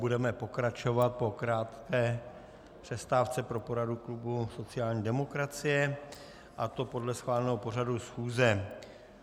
Budeme pokračovat po krátké přestávce pro poradu klubu sociální demokracie, a to podle schváleného pořadu schůze.